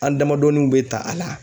An damadɔniw bɛ ta a la.